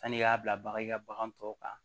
Sani i y'a bila bagan i ka bagan tɔ kan